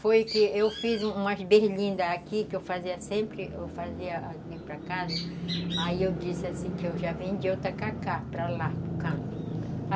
Foi que eu fiz umas berlindas aqui, que eu fazia sempre, eu fazia ali para casa, aí eu disse assim, que eu já vendia outra tacacá para lá.